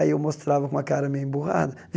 Aí eu mostrava com uma cara meio emburrada.